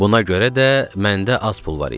Buna görə də məndə az pul var idi.